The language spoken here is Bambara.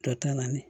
Jɔ ta naani